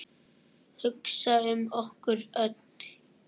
Hugsa um okkur öll.